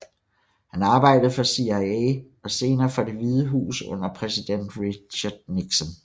Han arbejdede for CIA og senere for Det Hvide Hus under præsiden Richard Nixon